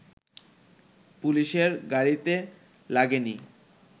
পুলিশের গাড়িতে লাগেনি